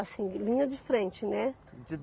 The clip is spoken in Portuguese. assim, linha de frente, né?